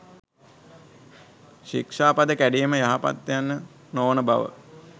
ශික්‍ෂාපද කැඩීම යහපත් ය යන්න නොවන බව